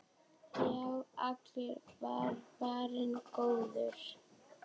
Já, allur var varinn góður!